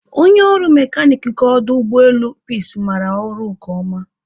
Onye ọrụ mekanik nke ọdụ ụgbọelu Peace maara ọrụ nke ọma